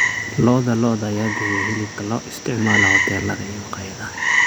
Lo'da lo'da ayaa bixiya hilibka loo isticmaalo hoteelada iyo maqaayadaha.